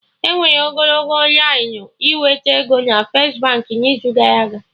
Enwere ogologo lainụ ịnweta ego na First Baankị n'izu gara aga